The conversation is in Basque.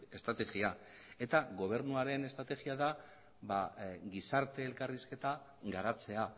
estrategia eta gobernuaren estrategia da ba gizarte elkarrizketa garatzea